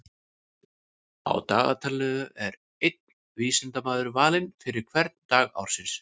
Á dagatalinu er einn vísindamaður valinn fyrir hvern dag ársins.